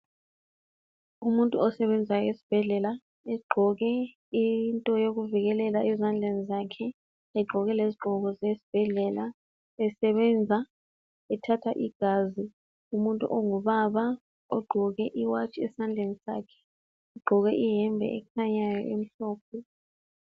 Umuntu osebenza esibhedlela egqoke into yokuvikelela ezandleni zakhe, egqoke lezigqoko zesibhedlela esebenza, ethatha igazi umuntu ongubaba ogqoke iwatshi esandleni sakhe. Ogqoke iyembe ekhanyayo imhlophe.